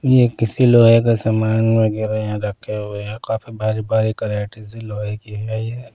ये किसी लोहे का सामान वगैरह यहाँ रखे हुए हैं काफी भारी भारी कराटी सी लोहे की है ये।